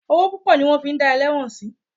Owó púpọ̀ ni wọ́n fi dá ẹlẹ́wọ̀n sí.